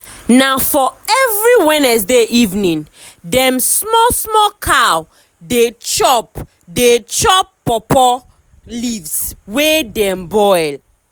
na for every wednesday evening dem small small cow dey chop dey chop pawpaw leaves wey dem boil.